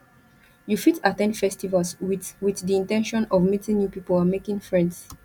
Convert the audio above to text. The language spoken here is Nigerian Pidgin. you fit at ten d festivals with with di in ten tion of meeting new people and making friends